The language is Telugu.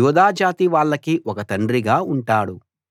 యూదా జాతి వాళ్ళకీ ఒక తండ్రిగా ఉంటాడు